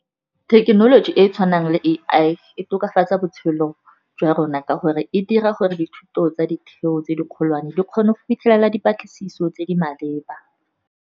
Thekenoloji e e tshwanang le A_I e tokafatsa botshelo jwa rona, ka gore e dira gore dithuto tsa ditheo tse di kgolwane, di kgone go fitlhelela dipatlisiso tse di maleba.